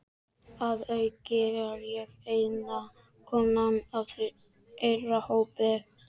Að auki er ég eina konan í þeirra hópi.